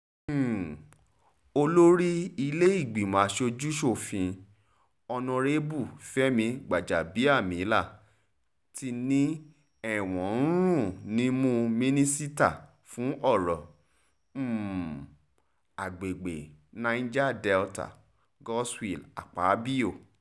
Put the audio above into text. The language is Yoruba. um olórí ilé-ìgbìmọ̀ asojú-sòfin honorébù fẹmi gbàjàbíàmílà tí ni ẹ̀wọ̀n ń rùn nímú mínísítà fún ọ̀rọ̀ um agbègbè niger delta goodswill akpabio